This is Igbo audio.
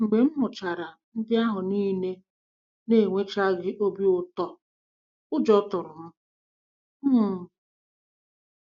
Mgbe m hụchara ndị ahụ niile na-enwechaghị obi ụtọ, ụjọ tụrụ m. um